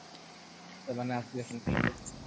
ସେମାନେ ଆସିଲେ ଫେନ୍ ଖେଲିବେ